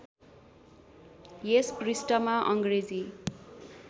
यस पृष्ठमा अङ्ग्रेजी